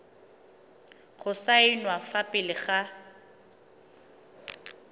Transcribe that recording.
go saenwa fa pele ga